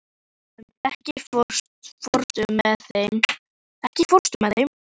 Auðunn, ekki fórstu með þeim?